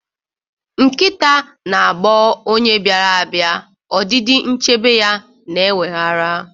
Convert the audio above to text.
Nkịta na-agba onye bịara abịa, ọdịdị nchebe ya na-eweghara.